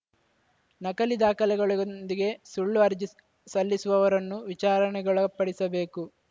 ನಕಲಿ ದಾಖಲೆಗೊಂದಿಗೆ ಸುಳ್ಳು ಅರ್ಜಿ ಸ್ ಸಲ್ಲಿಸುವವರನ್ನು ವಿಚಾರಣೆಗೊಳಪಡಿಸಬೇಕು